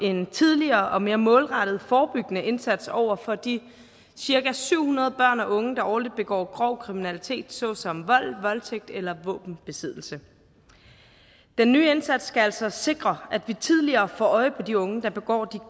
en tidligere og mere målrettet forebyggende indsats over for de cirka syv hundrede børn og unge der årligt begår grov kriminalitet såsom vold voldtægt eller våbenbesiddelse den nye indsats skal altså sikre at vi tidligere får øje på de unge der begår